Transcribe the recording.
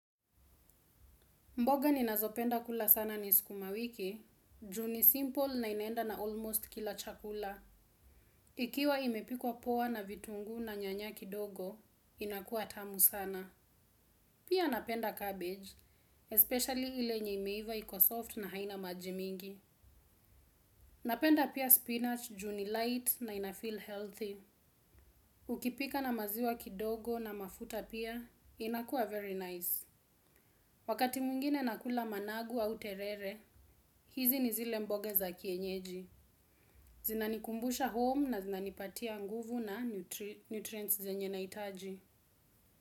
Mboga ninazopenda kula sana ni sukumawiki, ju ni simple na inaenda na almost kila chakula. Ikiwa imepikwa poa na vitunguu na nyanya kidogo, inakuwa tamu sana. Pia napenda cabbage, especially ile yenye imeiva iko soft na haina maji mingi. Napenda pia spinach, ju ni light na inafeel healthy. Ukipika na maziwa kidogo na mafuta pia, inakuwa very nice. Wakati mwingine nakula managu au terere, hizi ni zile mboga za kienyeji. Zinanikumbusha home na zinanipatia nguvu na nutrients zenye nahitaji.